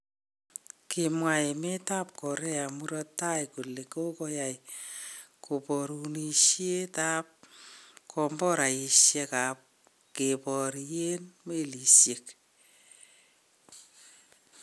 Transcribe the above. Kimwa emet ab Korea murto taii kole kogoyaai koborunisiet ab komboraisiek ab keborien melisiek.